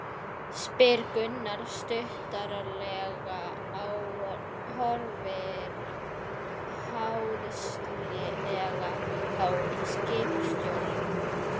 spyr Gunnar stuttaralega, horfir háðslega á skipstjórann.